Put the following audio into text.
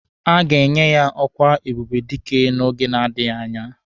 A ga-enye ya ọkwa ebube dike n'oge na-adịghị anya.